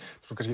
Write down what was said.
kannski